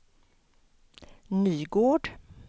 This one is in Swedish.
Nygård